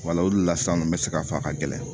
o de la san n bɛ se ka fɔ a ka gɛlɛn